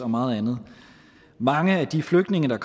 meget andet mange af de flygtninge der